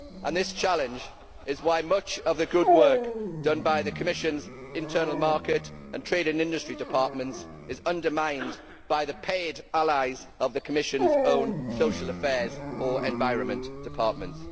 This challenge is why much of the good work done by the Commission's Internal Market and Trade and Industry departments is undermined by the paid allies of the Commission's own Social Affairs or Environment departments.